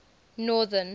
northern